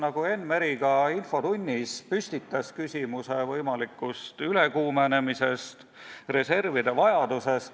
Enn Meri püstitas infotunnis küsimuse võimalikust ülekuumenemisest ja reservide vajadusest.